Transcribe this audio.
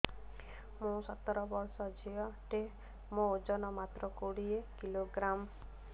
ମୁଁ ସତର ବର୍ଷ ଝିଅ ଟେ ମୋର ଓଜନ ମାତ୍ର କୋଡ଼ିଏ କିଲୋଗ୍ରାମ